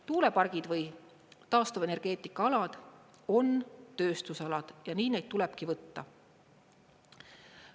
Tuulepargid või taastuvenergeetikaalad on tööstusalad ja nii neid tulebki võtta.